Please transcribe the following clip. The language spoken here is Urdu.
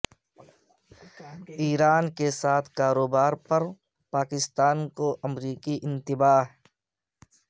ایران کے ساتھ کاروبار پر پاکستان کو امریکی انتباہ